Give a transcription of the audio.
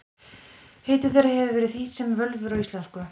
Heiti þeirra hefur verið þýtt sem völvur á íslensku.